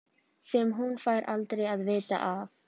Sem hún fær aldrei að vita af.